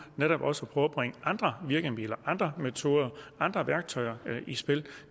netop også at bringe andre virkemidler andre metoder andre værktøjer i spil